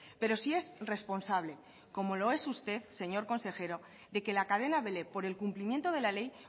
pero sí es responsable como lo es usted señor consejero de que la cadena vele por el cumplimiento de la ley